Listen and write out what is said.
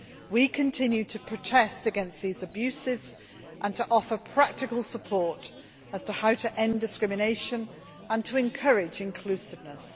We continue to protest against these abuses and to offer practical support on how to end discrimination and to encourage inclusiveness.